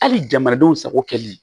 Hali jamanadenw sago kɛlen